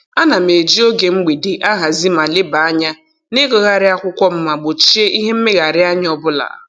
Ana m eji oge mgbede ahazi ma lebanye anya na-ịgụgharị akwụkwọ m ma gbochie ihe mmegharịanya ọbụla.